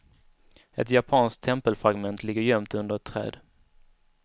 Ett japanskt tempelfragment ligger gömt under ett träd.